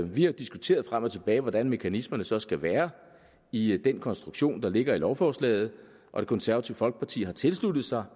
vi har diskuteret frem og tilbage hvordan mekanismerne så skal være i den konstruktion der ligger i lovforslaget og det konservative folkeparti har tilsluttet sig